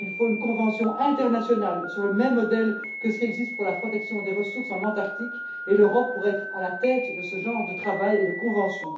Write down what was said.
Il faut une convention internationale sur le même modèle que ce qui existe pour la protection des ressources en Antarctique et l'Europe pourrait être à la tête de ce genre de travail et de convention.